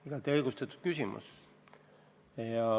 Igati õigustatud küsimus.